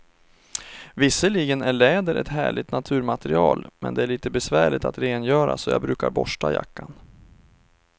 Visserligen är läder ett härligt naturmaterial, men det är lite besvärligt att rengöra, så jag brukar borsta jackan.